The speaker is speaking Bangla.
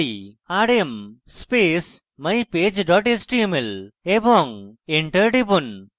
rm space mypage dot html এবং enter টিপুন